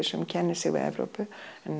sem kennir sig við Evrópu